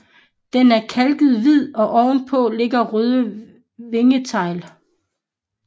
Den er kalket hvid og oven på ligger røde vingetegl